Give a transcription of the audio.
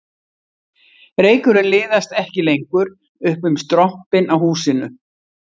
Reykurinn liðast ekki lengur upp um strompinn á húsinu